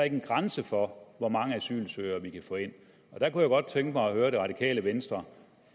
en grænse for hvor mange asylsøgere vi kan få ind jeg kunne godt tænke mig at høre det radikale venstre